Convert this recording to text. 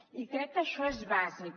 i crec que això és bàsic